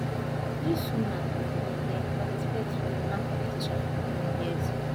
dis woman bin dey participate for women competition for many years